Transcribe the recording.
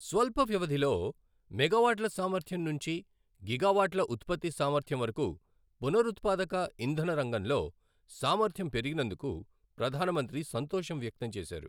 స్వల్ప వ్యవధిలో మెగావాట్ల సామర్ద్యం నుంచి గిగావాట్ల ఉత్పత్తి సామర్ధ్యం వరకు పునరుత్పాదక ఇంధన రంగంలో సామర్ధ్యం పెరిగినందుకు ప్రధానమంత్రి సంతోషం వ్యక్తం చేశారు.